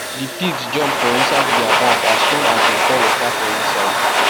the pigs jump for inside their baf as soon as dem pour water for inside